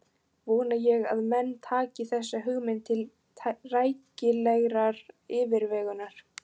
Vona ég að menn taki þessa hugmynd til rækilegrar yfirvegunar.